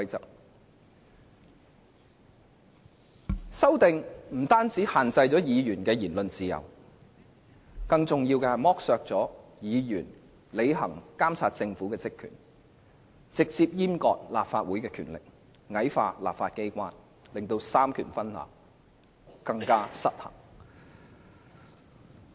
該等修訂建議不但限制了議員的言論自由，更重要的是剝削了議員監察政府的職權，直接閹割立法會的權力，矮化立法機關，令三權分立更為失衡。